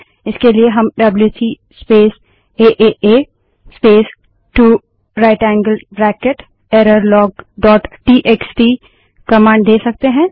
इसके लिए हम WC space A A A space 2 right angled bracket error log dot TXT WC space AA space 2 right angled bracket errorlogटीएक्सटी command दे सकते हैं